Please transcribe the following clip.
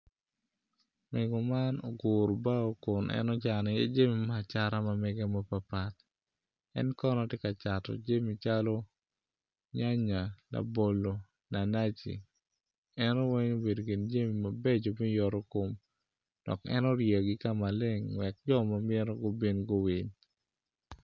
Mego man oguru bao kun en ocano i iye jami me acata mege mapatpat en kono tye ka cato jami calo nyanya labolo naci naci eno weng obedo ikin jami mabeco me yoto kom dok en oryeyogi kama leng wek jo ma mito gubin guwil